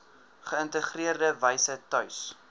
geïntegreerde wyse tuis